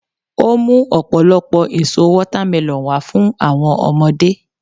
o mu ọpọlọpọ èso watermelon wa fún àwọn ọmọdé